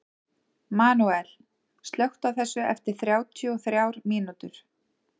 Manuel, slökktu á þessu eftir þrjátíu og þrjár mínútur.